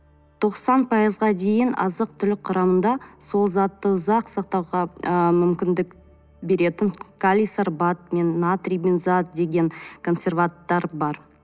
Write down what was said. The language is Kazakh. тоқсан пайызға дейін азық түлік құрамында сол затты ұзақ сақтауға ы мүмкіндік беретін калий сорбат пен натрий бензоат деген консерванттар бар